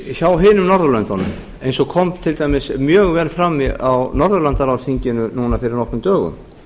hjá hinum norðurlöndunum eins og kom til dæmis mjög vel fram á norðurlandaráðsþinginu núna fyrir nokkrum dögum